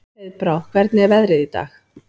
Heiðbrá, hvernig er veðrið í dag?